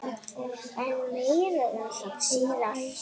En meira um það síðar.